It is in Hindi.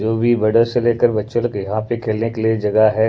जो भी बड़ो से लेकर बच्चों लोग यहाँ पे खेलने के लिए जगह है।